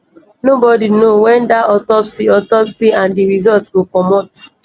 nobodi know wen dat autopsy autopsy and di result go comot